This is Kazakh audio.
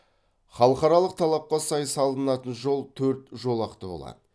халықаралық талапқа сай салынатын жол төрт жолақты болады